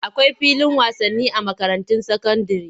Akwai filin wasani a makarantun sakandire.